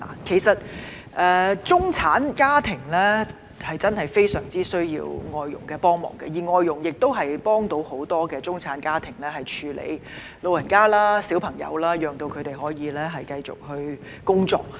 其實，中產家庭真的非常需要外傭幫忙，而外傭的確能夠幫助很多中產家庭照顧長者和兒童，讓他們可以繼續工作。